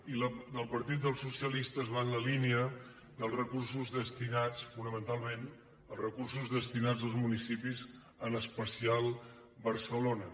i la del partit dels socialistes va en la línia dels recursos destinats fonamentalment als municipis en especial barcelona